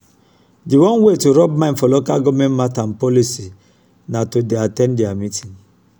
di one wey to rub mind for local government matter and policy na to dey at ten d their meeting